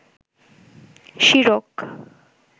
শিরক